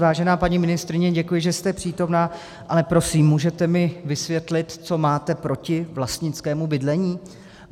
Vážená paní ministryně, děkuji, že jste přítomná, ale prosím, můžete mi vysvětlit, co máte proti vlastnickému bydlení?